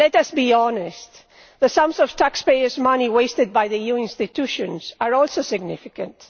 But let us be honest the amounts of taxpayers' money wasted by the EU institutions are also significant.